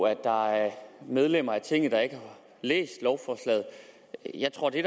at der er medlemmer af tinget der ikke har læst lovforslaget jeg tror at det